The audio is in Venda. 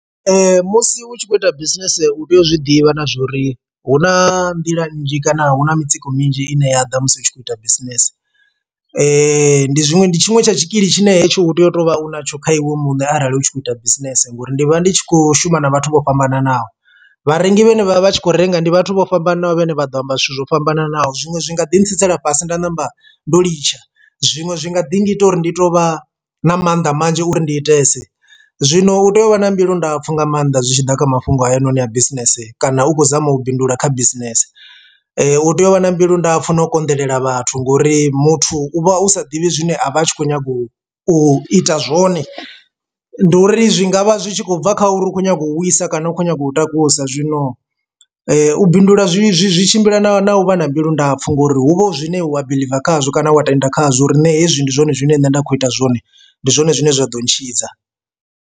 Musi u tshi khou ita bisinese u tea u zwiḓivha na zwori hu na nḓila nnzhi kana hu na mitsiko minzhi ine ya ḓa musi hu tshi khou ita bisinese ane ndi zwiṅwe ndi tshiṅwe tsha tshikili tshine hetsho u tea u to vha u natsho kha iwe mune arali u tshi khou ita bisinese ngori ndi vha ndi tshi kho shuma na vhathu vho fhambananaho, vharengi vhane vhavha vhatshi kho renga ndi vhathu vho fhambananaho vhane vha ḓo amba zwithu zwo fhambananaho zwiṅwe zwi nga ḓi tsitsela fhasi nda namba ndo litsha zwiṅwe zwi nga ḓi ngita uri ndi to vha na mannḓa manzhi uri ndi itesa. Zwino u tea u vha na mbilu ndapfu nga maanḓa zwi tshi ḓa kha mafhungo hayanoni a bisinese kana u khou zama u bindula kha bisinese u tea u vha na mbilu ndapfu na u konḓelela vhathu ngori muthu u vha u sa ḓivhi zwine a vha a tshi kho nyaga u u ita zwone ndi uri zwi ngavha zwi tshi khou bva kha uri u khou nyanga u wisa kana u khou nyanga u takusa zwino u bindula zwi zwi tshimbila na na u vha na mbilu ndapfu ngori hu vha hu zwine wa biḽiva khazwo kana wa tenda khazwo uri na hezwi ndi zwone zwine nṋe nda kho ita zwone ndi zwone zwine zwa ḓo ntshidza.